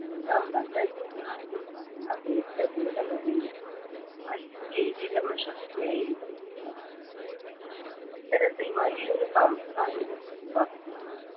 ലിംഗം മതം ജാതി വർണം ദേശ ഭേദമന്യേ വലിയ ഒരു ഏകീകരണ ശക്തിയായി ഇത് വളർന്നു ഇത്തരത്തിൽ വലിയൊരു സാംസ്കാരിക പ്രതിഭാസമാണ്